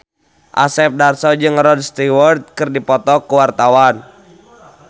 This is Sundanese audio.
Asep Darso jeung Rod Stewart keur dipoto ku wartawan